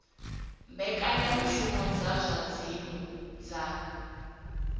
mbekanyamushumo dza zwa dzinnu dza